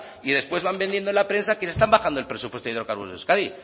y después van vendiendo en la prensa que les están bajando el presupuestado a hidrocarburos de euskadi